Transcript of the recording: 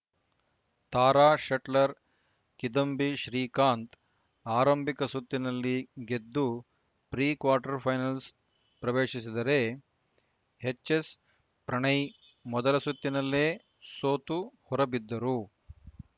ತಾರಾ shuttler Kidambi Srikanth ಆರಂಭಿಕ ಸುತ್ತಿನಲ್ಲಿ ಗೆದ್ದು ಪ್ರಿ ಕ್ವಾರ್ಟರ್‌ ಫೈನಲ್‌ ಪ್ರವೇಶಿಸಿದರೆ ಎಚ್‌ಎಸ್‌ಪ್ರಣಯ್‌ ಮೊದಲ ಸುತ್ತಿನಲ್ಲೇ ಸೋತು ಹೊರಬಿದ್ದರು